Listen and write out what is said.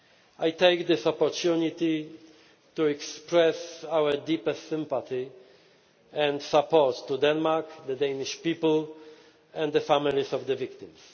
I take this opportunity to express our deepest sympathy and support to Denmark, the Danish people and the families of the victims.